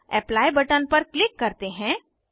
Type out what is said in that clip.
अब apply button पर click करते हैं